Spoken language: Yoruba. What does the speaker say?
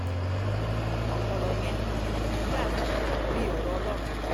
ọ̀rọ̀ yẹn dà bíi bíi ọ̀rọ̀ ọlọ́run ni